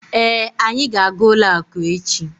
Èé, anyị ga aga ụlọ akụ echi